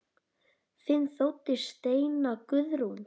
Þín dóttir Steina Guðrún.